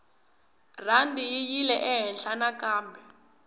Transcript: rhandi yi yile ehenhla nakambe